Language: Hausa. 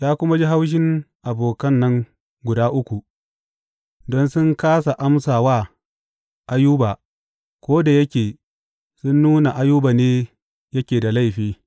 Ya kuma ji haushin abokan nan guda uku, don sun kāsa amsa wa Ayuba ko da yake sun nuna Ayuba ne yake da laifi.